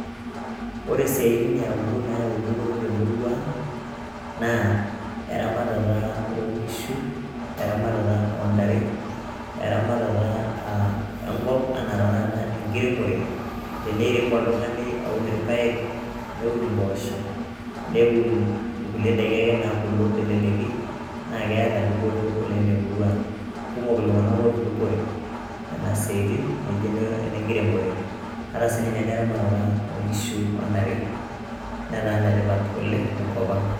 Ore siatin e aulo nayau dupot te murua naa; eramatata onkishu, eramatata o ntare, eramatata e nkop, anaa tena kata enkiremore te neirem oltung'ani aun ilpae, neun impoosho, neun inkulie daiki ake nabulu te leleki naa keeta dupoto oleng' te murua ang'. Kumok iltung'ana otudupore nena siaitin naijo ene enkiremore. Ata sii ninye eramatata o nkishu o ntare netaa enetipat oleng' te nkop ang'.